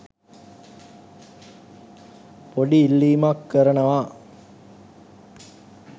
පොඩි ඉල්ලිමක් කරනවා